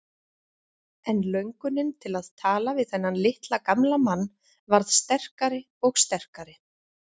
En löngunin til að tala við þennan litla gamla mann varð sterkari og sterkari.